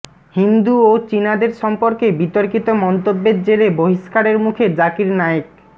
হিন্দু ও চিনাদের সম্পর্কে বিতর্কিত মন্তব্যর জেরে বহিষ্কারের মুখে জাকির নায়েক